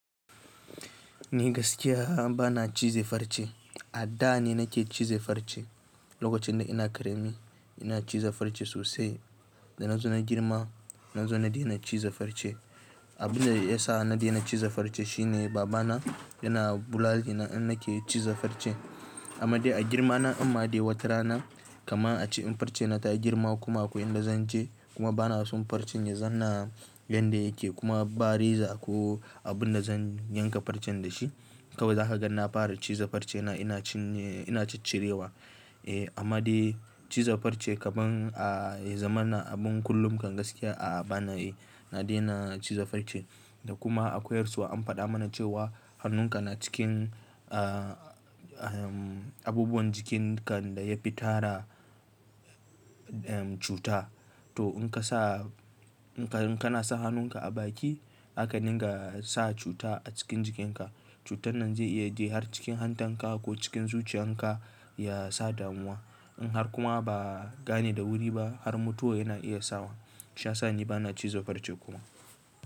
Ni gaskiya bana ciza farce, a da ne nake ciza farce. Lokacin da ina karemi ina ciza farce sosai. Da na zo na girma na zo na daina ciza farce. Abin da ya sa na daina ciza farce shine baba na yana bulale ni in nake ciza farce. Amma dai a girma na amma dai watarana kama a ci farcen na ta girma kuma ko in da zan ci kuma bana son farcin ya zanna yadda yake kuma ba reza ko abin da zan yanka farcen da shi. Kawai zaka ga na fara ciza farce na ina cinye ina ciccirewa. Eh amma dai ciza farce kaman a ya zaman na abin kullum kan gaskiya a bana eh na daina ciza farce. Da kuma akwai yarsuwa an faɗa mana cewa hannunka na cikin a-a-abubuwan jikin kan da ya fi tara cuta. To in ka sa in ka in kana sa hannunka a baki haka dinga sa cuta a cikin jikin ka. Cutan nan zai iya je har cikin hantan ka ko cikin zuciyan ka ya sa damuwa. In har kuma ba gane da wuri ba har mutuwa yana iya sawa. Sha sani bana ciza farce kuma.